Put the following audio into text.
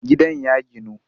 Gidan ya ginu